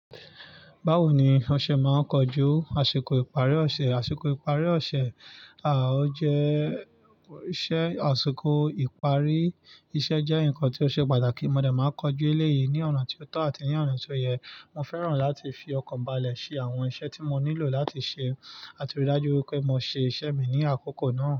Bawo ni ọṣẹ máa ń kojú àsìkò ìparí ọṣẹ? Àsìkò ìparí ọṣẹ, à ó jẹ́ ṣẹ, àsìkò ìparí iṣẹ́ jẹ́ nǹkan tí ó ṣe pàtàkì. Mọ̀ de máa ń kojú elé yìí ní ọ̀nà tí ó tọ́ àti ní ọ̀nà tí ó yẹ. Mo fẹ́ràn láti fi ọkan bàlẹ̀ ṣe àwọn iṣẹ́ tí mo nílò láti ṣe làti rí i dájú pé mo ṣe iṣẹ́ mi ní àkókò náà.